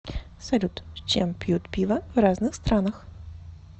салют с чем пьют пиво в разных странах